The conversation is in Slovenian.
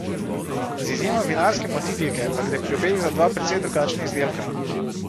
Z izjemo vinarske motivike pa gre pri obeh za dva precej drugačna izdelka.